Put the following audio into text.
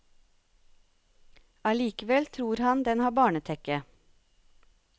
Allikevel tror han den har barnetekke.